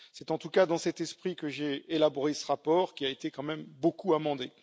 C'est en tout cas dans cet esprit que j'ai élaboré ce rapport, qui a été quand même beaucoup amendé.